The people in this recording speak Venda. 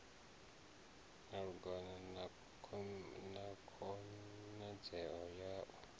malugana na khonadzeo ya u